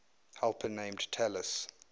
helper named talus